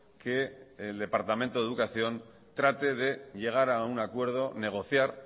que el departamento de educación trate de llegar a un acuerdo negociar